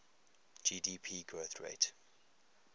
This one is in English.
gdp growth rate